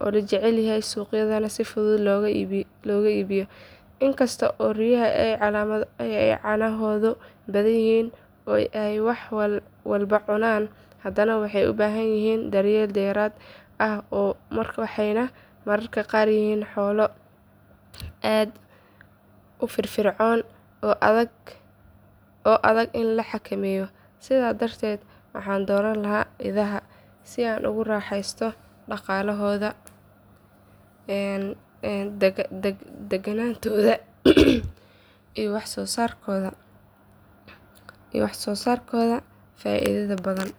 oo la jecel yahay suuqyadana si fudud looga iibiyo. Inkasta oo riyaha ay caanahoodu badan yihiin oo ay wax walba cunaan, hadana waxay u baahan yihiin daryeel dheeraad ah waxayna mararka qaar yihiin xoolo aad u firfircoon oo adag in la xakameeyo. Sidaa darteed waxaan dooran lahaa idaha si aan ugu raaxaysto dhaqaalahooda, daganaantooda iyo wax soo saarkooda faa’iidada badan.